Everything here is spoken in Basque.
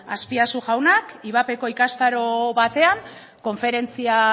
azpiazu jaunak ivapeko ikastaro batean konferentzia